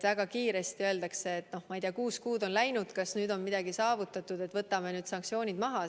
Väga kiiresti öeldakse, et noh, ma ei tea, kuus kuud on läinud, kas nüüd on midagi saavutatud, võtame sanktsioonid maha.